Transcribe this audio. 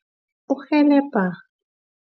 Kurhelebha.